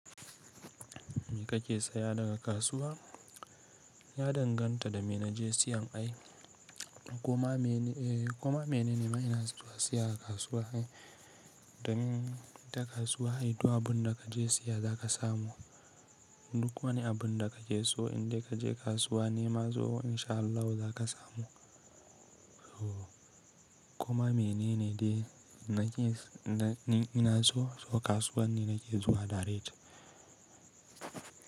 Me kake saya daga kasuwa? Ya danganta da me na je siyan ai. Kuma mene, eh kuma mene ne ma ina zuwa siya daga kasuwa ne? Dan ita kasuwa ita abun da ka je siya za ka samu. Duk wani abun da ka ke so in dai ka je kasuwa nema so insha Allahu za ka samu. Kuma mene ne de na ke, ina so ko kasuwar ne nake zuwa daret?